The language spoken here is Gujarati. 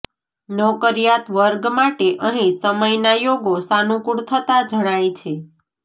નોકરિયાત વર્ગ માટે અહીં સમયના યોગો સાનુકૂળ થતાં જણાય છે